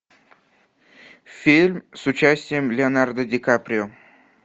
фильм с участием леонардо ди каприо